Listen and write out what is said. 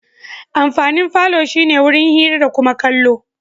Amfanin falo shi ne wurin hira da kuma kallo.